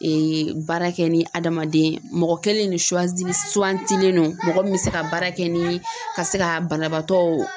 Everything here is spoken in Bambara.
baara kɛ ni adamaden, mɔgɔ kelen ne suwantilen don mɔgɔ min bɛ se ka baara kɛ ni ka se ka banabaatɔ